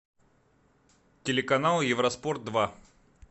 телеканал евроспорт два